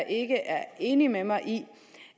ikke er enig med mig i